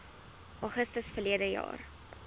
augustus verlede jaar